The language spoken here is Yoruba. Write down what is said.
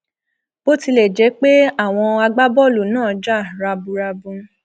bó tilẹ jẹ pé àwọn agbábọọlù náà jà raburabu